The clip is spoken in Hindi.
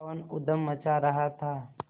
पवन ऊधम मचा रहा था